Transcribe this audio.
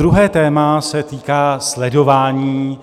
Druhé téma se týká sledování